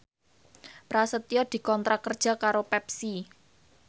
Prasetyo dikontrak kerja karo Pepsi